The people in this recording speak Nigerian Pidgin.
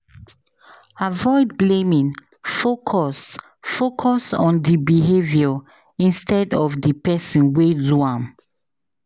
Avoid blaming; focus focus on the behavior instead of the person wey do am.